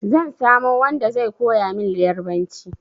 Zan samo wanda zai koya min Ƴarbanci.